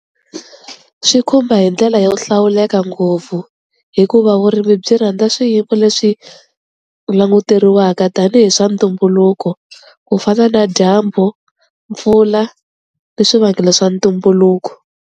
Swi khumba hi ndlela yo hlawuleka ngopfu hikuva vurimi byi rhandza swiyimo leswi languteriwaka tanihi swa ntumbuluko ku fana na dyambu, mpfula ni swivangelo swa ntumbuluko.